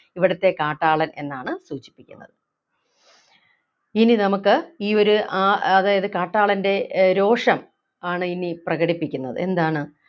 ഇവിടത്തെ കാട്ടാളൻ എന്നാണ് സൂചിപ്പിക്കുന്നത് ഇനി നമുക്ക് ഈ ഒരു ആഹ് അതായത് കാട്ടാളൻ്റെ ഏർ രോഷം ആണ് ഇനി പ്രകടിപ്പിക്കുന്നത് എന്താണ്